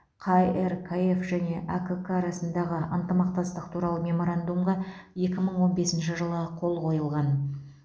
қркф және әкк арасындағы ынтымақтастық туралы меморандумға екі мың он бесінші жылы қол қойылған